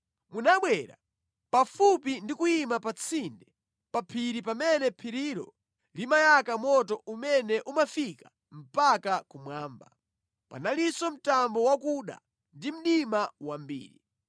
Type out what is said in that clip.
Munabwera pafupi ndi kuyima pa tsinde pa phiri pamene phirilo limayaka moto umene umafika mpaka kumwamba. Panalinso mtambo wakuda ndi mdima wambiri.